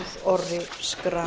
magnús orri schram